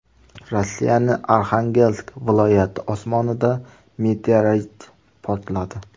Rossiyaning Arxangelsk viloyati osmonida meteorit portladi .